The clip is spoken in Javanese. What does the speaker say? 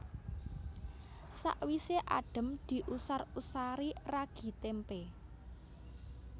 Sawisé adhem diusar usari ragi témpé